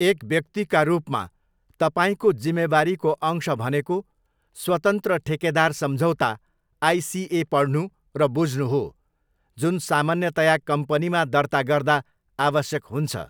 एक व्यक्तिका रूपमा तपाईँको जिम्मेवारीको अंश भनेको स्वतन्त्र ठेकेदार सम्झौता, आइसिए पढ्नु र बुझ्नु हो जुन सामान्यतया कम्पनीमा दर्ता गर्दा आवश्यक हुन्छ।